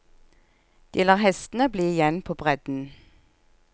De lar hestene bli igjen på bredden.